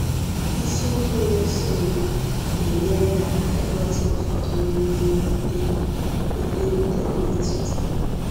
Isiokwu na-esonụ ga-enyere gị aka ịghọta ụfọdụ n’ime ihe ndị ihe ndị o metụtara